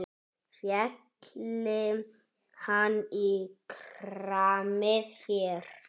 Félli hann í kramið hér?